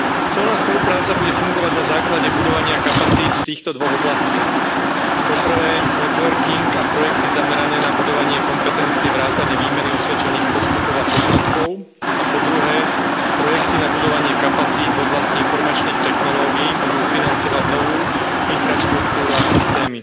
Colná spolupráca bude fungovať na základe budovania kapacít v týchto dvoch oblastiach po prvé, networking a projekty zamerané na budovanie kompetencie vrátane výmeny osvedčených postupov a poznatkov, a po druhé, projekty na budovanie kapacít v oblasti informačných technológií budú financovať novú infraštruktúru a systémy.